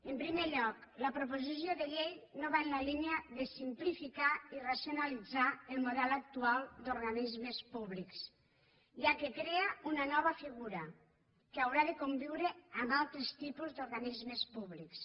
en primer lloc la proposició de llei no va en la línia de simplificar i racionalitzar el model actual d’organismes públics ja que crea una nova figura que haurà de conviure amb altres tipus d’organismes públics